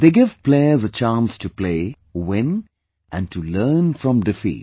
They give players a chance to play, win and to learn from defeat